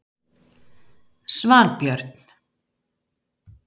Svanbjörn